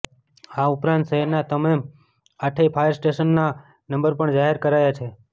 આ ઉપરાંત શહેરના તમામ આઠેય ફાયર સ્ટેશનના નંબર પણ જાહેર કરાયા છે